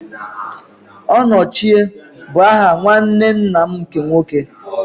Onochie bụ aha nwanne nna m nke nwoke.